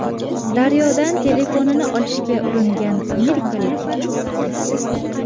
Daryodan telefonini olishga uringan amerikalik cho‘kib ketdi.